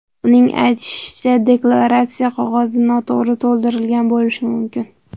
Uning aytishicha, deklaratsiya qog‘ozi noto‘g‘ri to‘ldirilgan bo‘lishi mumkin.